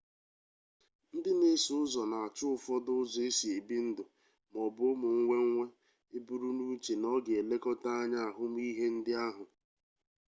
ndị na-eso ụzọ na-achụ ụfọdụ ụzọ esi ebi ndụ ma ọ bụ ụmụ mmewe eburunuche na ọ ga-elekọta anya ahụmihe ndị ahụ